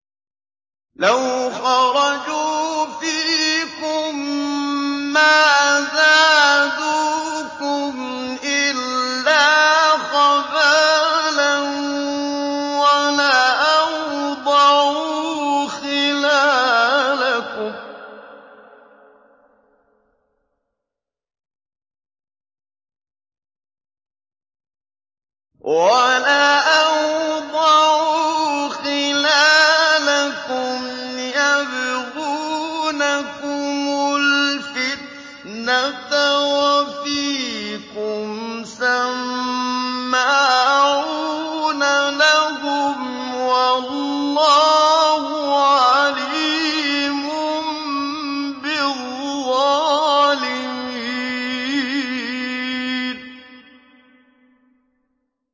لَوْ خَرَجُوا فِيكُم مَّا زَادُوكُمْ إِلَّا خَبَالًا وَلَأَوْضَعُوا خِلَالَكُمْ يَبْغُونَكُمُ الْفِتْنَةَ وَفِيكُمْ سَمَّاعُونَ لَهُمْ ۗ وَاللَّهُ عَلِيمٌ بِالظَّالِمِينَ